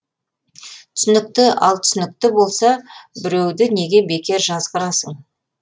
түсінікті ал түсінікті болса біреуді неге бекер жазғырасың